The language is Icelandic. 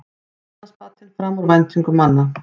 Efnahagsbatinn fram úr væntingum manna